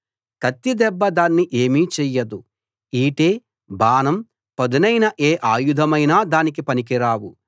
కత్తి దెబ్బ దాన్ని ఏమీ చెయ్యదు ఈటె బాణం పదునైన ఏ అయుధమైనా పనికి రావు